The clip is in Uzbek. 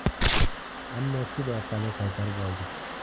Ammo sud orqali qaytarib oldik.